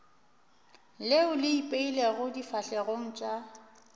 leo le ipeilego difahlegong tša